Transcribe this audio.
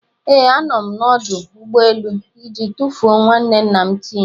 Ee, a nọ m n'ọdụ ụgbọ elu iji tufuo nwanne nna Tim